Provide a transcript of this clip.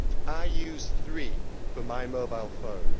I use Three for my mobile phone.